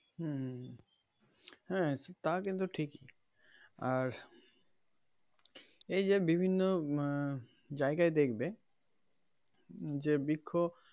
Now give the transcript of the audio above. হম হ্যা তা কিন্তু ঠিকই আর এই যে বিভিন্ন আহ জায়গায় দেখবে যে বৃক্ষ.